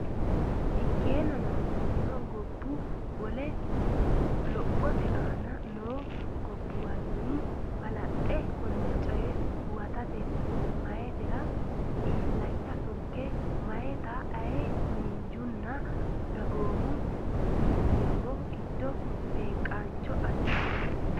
Ikkeennano, lophitino gobbu- wole lophate aana noo gobbuwanni balaxxe konne coye huwatatenni meyaatera illacha tugge meyaata aye miinjunna dagoomu millimmo gid- beeqqaancho assitino.